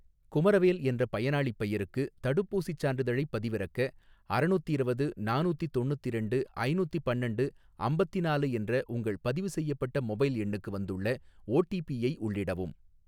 குமரவேல் என்ற பயனாளிப் பெயருக்கு தடுப்பூசிச் சான்றிதழைப் பதிவிறக்க, அறநூத்திரவது நானூத்தி தொண்ணுத்திரண்டு ஐநூத்தி பன்னண்டு அம்பத்தினாலு என்ற உங்கள் பதிவு செய்யப்பட்ட மொபைல் எண்ணுக்கு வந்துள்ள ஓடிபி ஐ உள்ளிடவும்